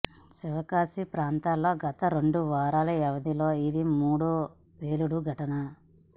శివకాశి ప్రాంతంలో గత రెండు వారాల వ్యవధిలో ఇది మూడో పేలుడు ఘటన